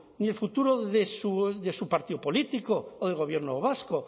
ni el futuro de su partido político o del gobierno vasco